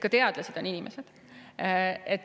Ka teadlased on inimesed.